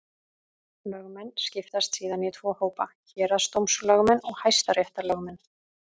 Lögmenn skiptast síðan í tvo hópa: Héraðsdómslögmenn og hæstaréttarlögmenn.